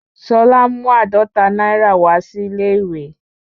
Ṣolá mú àádọ́ta náírà wá sí ilé-ìwé